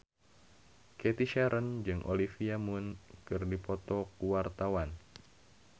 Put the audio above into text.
Cathy Sharon jeung Olivia Munn keur dipoto ku wartawan